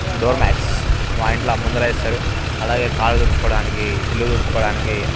door mats మా ఇంట్లో ముందట వేస్తారు కళ్ళు తుదుచిఒకదనికి ఇల్లు తుడుచుకోడానికి